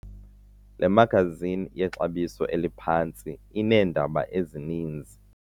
Le magazini yexabiso eliphantsi ineendaba ezininzi.